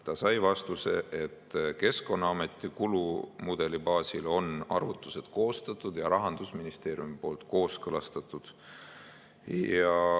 Ta sai vastuseks, et Keskkonnaameti kulumudeli baasil on arvutused koostatud ja Rahandusministeerium on need kooskõlastanud.